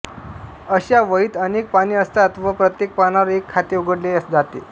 अशा वहीत अनेक पाने असतात व प्रत्येक पानावर एक खाते उघडले जाते